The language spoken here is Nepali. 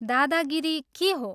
दादागिरी के हो?